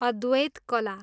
अद्वैत कला